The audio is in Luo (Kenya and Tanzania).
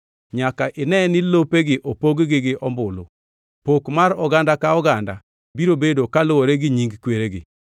Nyaka ine ni lopegi opog gi ombulu. Pok mar oganda ka oganda biro bedo kaluwore gi nying kweregi.